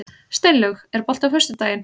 Steinlaug, er bolti á föstudaginn?